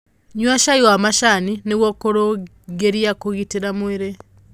Nyua cai wa macani nĩguo kurungirĩa kugitira mwĩrĩ